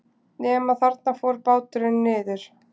Nema þarna fór báturinn niður.